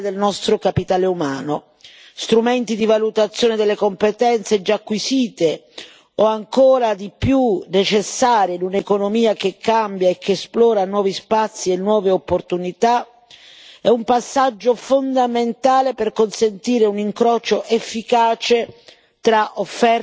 Gli strumenti di valutazione delle competenze già acquisite o, ancora di più, necessarie in un'economia che cambia e che esplora nuovi spazi e nuove opportunità sono un passaggio fondamentale per consentire un incrocio efficace tra offerta e domanda di lavoro.